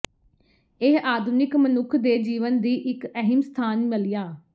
ਇਹ ਆਧੁਨਿਕ ਮਨੁੱਖ ਦੇ ਜੀਵਨ ਦੀ ਇੱਕ ਅਹਿਮ ਸਥਾਨ ਮੱਲਿਆ